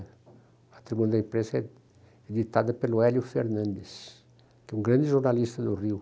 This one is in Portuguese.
O Patrimônio da Imprensa é editada pelo Hélio Fernandes, que é um grande jornalista do Rio.